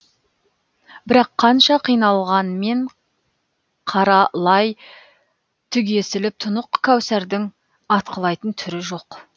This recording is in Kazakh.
бірақ қанша қиналғанмен қара лай түгесіліп тұнық кәусардың атқылайтын түрі жоқ